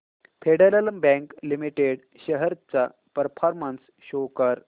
federal bank limited shares चा performance show कर